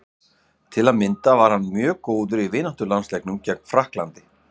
Til að mynda var hann mjög góður í vináttulandsleiknum gegn Frakklandi.